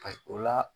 o la